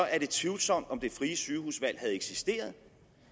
er det tvivlsomt om det frie sygehusvalg havde eksisteret